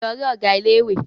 Lọ rí Ọ̀gá ilé ìwé!